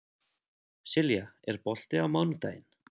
Silja, er bolti á mánudaginn?